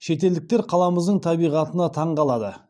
шетелдіктер қаламыздың табиғатына таңғалады